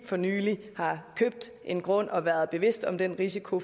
for nylig har købt en grund og været bevidst om den risiko